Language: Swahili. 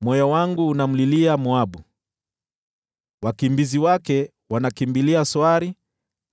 Moyo wangu unamlilia Moabu; wakimbizi wake wanakimbilia Soari,